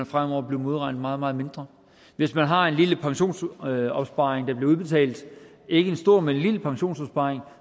fremover blive modregnet meget meget mindre hvis man har en lille pensionsopsparing der bliver udbetalt ikke en stor men en lille pensionsopsparing